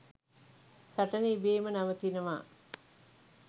සටන ඉබේම නවතිනවා.